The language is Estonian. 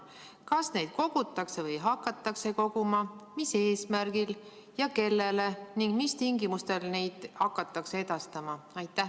Kas neid kogutakse või hakatakse koguma, mis eesmärgil ja kellele ning mis tingimustel neid hakatakse edastama?